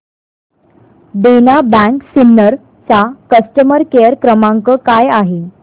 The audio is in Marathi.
देना बँक सिन्नर चा कस्टमर केअर क्रमांक काय आहे